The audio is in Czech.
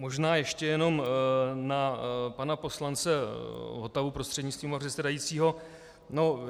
Možná ještě jenom na pana poslance Votavu prostřednictvím pana předsedajícího.